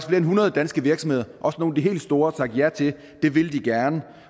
end hundrede danske virksomheder også nogle af de helt store sagt ja til det vil de gerne